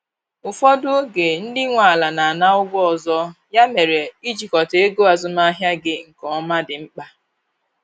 Ụfọdụ oge ndị nwe ala na ana ụgwọ ọzọ, ya mere, ịjikota ego azụmahịa gị nke ọma dị mkpa